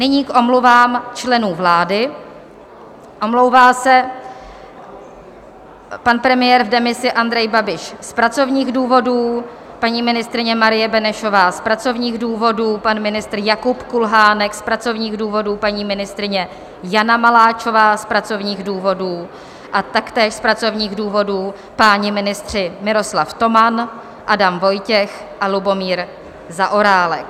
Nyní k omluvám členů vlády: omlouvá se pan premiér v demisi Andrej Babiš z pracovních důvodů, paní ministryně Marie Benešová z pracovních důvodů, pan ministr Jakub Kulhánek z pracovních důvodů, paní ministryně Jana Maláčová z pracovních důvodů a taktéž z pracovních důvodů páni ministři Miroslav Toman, Adam Vojtěch a Lubomír Zaorálek.